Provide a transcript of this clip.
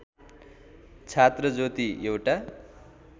छात्र ज्योति एउटा